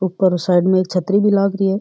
उपर साइड मे एक छतरी भी लाग री है।